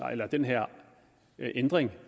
den her ændring